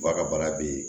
Ba ka baara bɛ yen